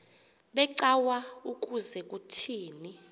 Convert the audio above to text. becawa ukuze kuthini